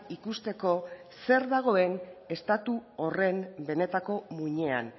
ikusteko zer dagoen estatu horren benetako muinean